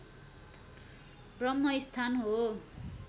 ब्रम्हस्थान हो